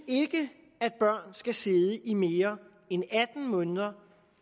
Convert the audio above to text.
at børn skal sidde i mere end atten måneder